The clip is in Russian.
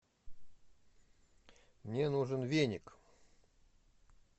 мне нужен веник